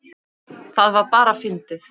Það var bara fyndið.